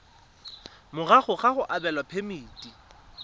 morago ga go abelwa phemiti